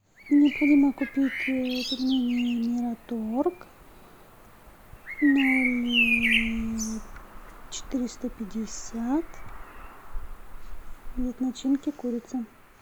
необходимо купить пельмени мираторг ноль четыреста пятьдесят вид начинки курица